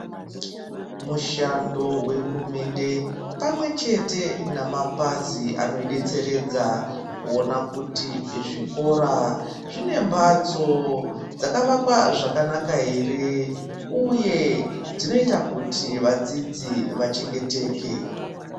Mushando wehurumende pamwe chete nemapazi anoidetseredza kuona kuti zvikora zvine mhatso dzakavakwa zvakanaka ere uye dzinoita kuti vadzidzi vachengeteke.